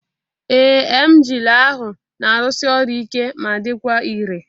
Ee, emgyl ahụ na-arụsi ọrụ ike ma dịkwa irè